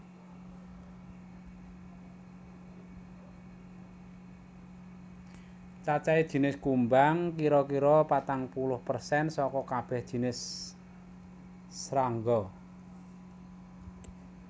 Cacahé jinis kumbang kira kira patang puluh persen saka kabèh jinis srangga